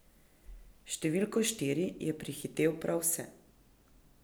S številko štiri je prehitel prav vse.